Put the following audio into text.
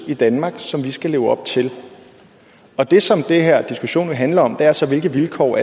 i danmark som vi skal leve op til og det som den her diskussion handler om er så hvilke vilkår